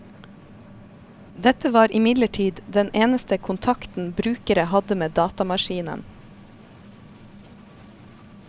Dette var imidlertid den eneste kontakten brukere hadde med datamaskinen.